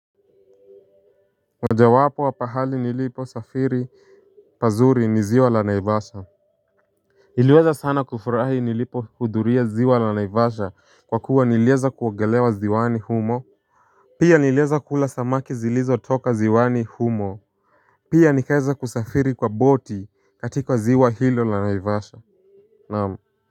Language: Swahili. Moja wapo wa pahali nilipo safiri pazuri ni ziwa la naivasha. Niliweza sana kufurahi nilipo hudhuria ziwa la naivasha kwa kuwa nilieza kuogelea ziwani humo. Pia nilieza kula samaki zilizotoka ziwani humo. Pia nikaeza kusafiri kwa boti katika ziwa hilo la naivasha naamu.